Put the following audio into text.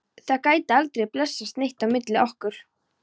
Það gæti aldrei blessast neitt á milli okkar.